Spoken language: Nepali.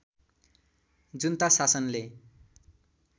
जुन्ता शासनले